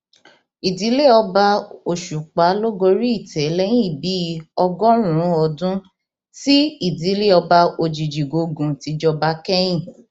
ìdílé ọba òṣùpá ló gorí ìtẹ lẹyìn bíi ọgọrùnún ọdún tí ìdílé ọba òjijìgògun ti jọba kẹyìn